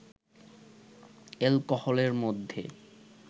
এ্যালকোহলের মধ্যে